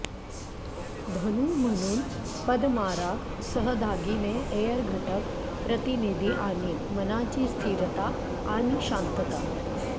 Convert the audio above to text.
धनु म्हणून पदमाराग सह दागिने एअर घटक प्रतिनिधी आणीन मनाची स्थिरता आणि शांतता